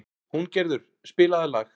Húngerður, spilaðu lag.